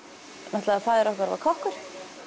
náttúrulega faðir okkar var kokkur